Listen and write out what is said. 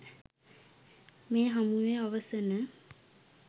මේ හමුවේ අවසන